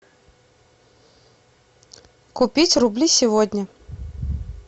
купить рубли сегодня